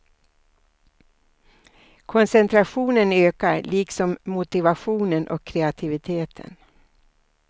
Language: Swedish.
Koncentrationen ökar, liksom motivationen och kreativiteten.